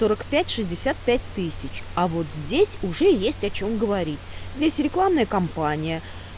сорок пять шестьдесят пять тысяч а вот здесь уже есть о чем говорить здесь рекламная компания